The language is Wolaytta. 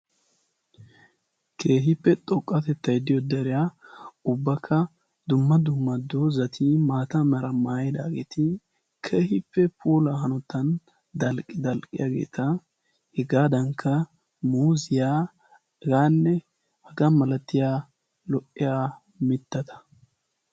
Kehiippe xoqqatettaiddiyo dariya ubbakka dumma dumma doozati maata mara maayidaageeti kehiippe pola hanotan al dalqqiyaageeta hegaadankka moziyaagaanne hagaa malatiya lo"iya mittata.